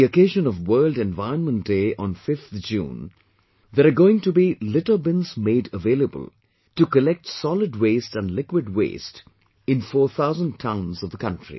On the occasion of World Environment Day on 5th June, there are going to be litter bins made available to collect solid waste and liquid waste in 4000 towns of the country